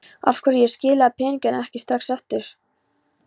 Af hverju ég skilaði peningunum ekki strax aftur.